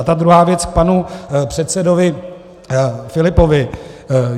A ta druhá věc k panu předsedovi Filipovi.